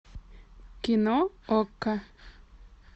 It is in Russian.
кино окко